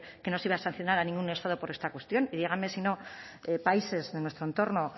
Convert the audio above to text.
que no se iba a sancionar a ningún estado por esta cuestión y díganme si no países de nuestro entorno